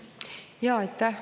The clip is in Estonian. Aitäh!